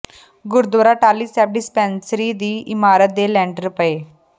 Gurdwara Tahli Sahib dispensary ਦੀ ਇਮਾਰਤ ਦੇ ਲੈਂਟਰ ਪਾਏ